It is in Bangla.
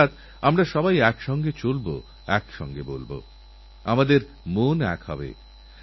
এজন্যই সব দেশবাসীর উচিত রিওঅলিম্পিকে আমাদের যেসমস্ত খেলোয়োড়রা গেছেন তাঁদের শুভকামনা জানানো